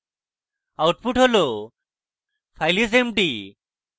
output হল file is empty